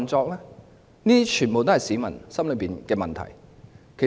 這些全都是市民心中的問題。